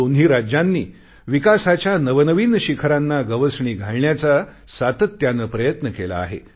दोन्ही राज्यांनी विकासाच्या नवनवीन शिखरांना गवसणी घालण्याचा सातत्याने प्रयत्न केला आहे